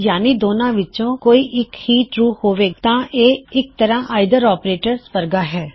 ਯਾਨੀ ਦੋਨਾ ਵਿੱਚੋਂ ਕੋਈ ਇੱਕ ਵੀ ਟਰੂ ਹੋਵੇ ਤਾਂ ਇਹ ਇਕ ਤਰਹ ਆਇਦਰ ਆਪਰੇਟਰ ਵਰਗਾ ਹੈ